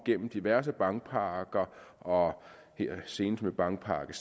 gennem diverse bankpakker og senest med bankpakke